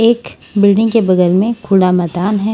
एक बिल्डिंग के बगल में खुड़ा मैदान है।